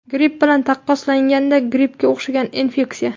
Gripp bilan taqqoslaganda grippga o‘xshagan infeksiya.